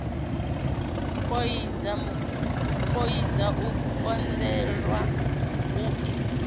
poidza o kundelwa u i